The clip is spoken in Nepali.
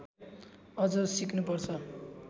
अझ सिक्नु पर्छ